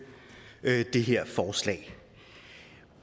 det her forslag